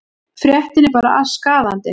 Fréttin er bara skaðandi.